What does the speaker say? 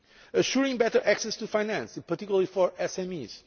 years assuring better access to finance, in particular for